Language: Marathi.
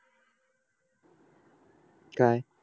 काय